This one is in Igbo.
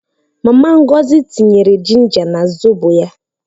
Mama Ngọzi tinyere jinja na zobo ya